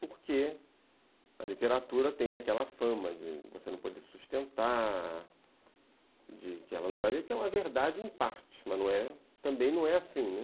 Porque a literatura tem aquela fama de você não poder sustentar, que é uma verdade em parte, mas também não é assim.